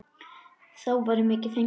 Þá væri mikið fengið.